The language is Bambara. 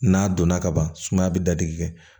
N'a donna kaban sumaya be dadigi kɛ